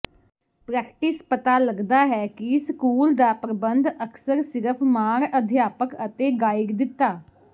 practice ਪਤਾ ਲੱਗਦਾ ਹੈ ਕਿ ਸਕੂਲ ਦਾ ਪ੍ਰਬੰਧ ਅਕਸਰ ਸਿਰਫ ਮਾਣ ਅਧਿਆਪਕ ਅਤੇ ਗਾਈਡ ਦਿੱਤਾ